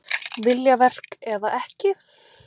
Viljaverk eða ekki?